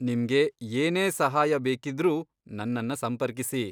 ನಿಮ್ಗೆ ಏನೇ ಸಹಾಯ ಬೇಕಿದ್ರೂ ನನ್ನನ್ನ ಸಂಪರ್ಕಿಸಿ.